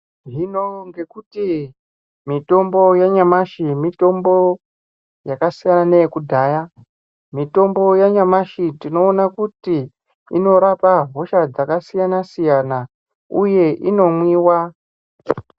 Hino ngekuti mutombo yanyamashi mitombo yakasiyana neyekudhaya. Mitombo yanyamashi tinoona kuti inorapa hosha dzakasiyana siyana uye inomwiwa.